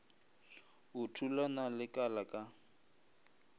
o thulana le kala ka